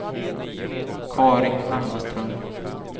Carin Hammarström